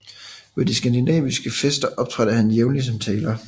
Ved de skandinaviske fester optrådte han jævnlig som taler